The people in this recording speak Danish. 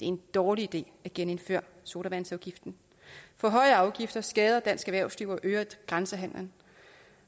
en dårlig idé at genindføre sodavandsafgiften for høje afgifter skader dansk erhvervsliv og øger grænsehandelen